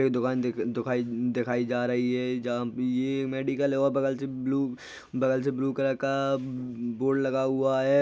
येह दुकान दु-दे-दुखाइ दिखाई जा रही हैं जहा येह मेडिकल हैं। और बगल से ब्लू बगल से ब्लू कलर का ब-ब- ब्लू कलर का बोर्ड लगा हुआ हैं।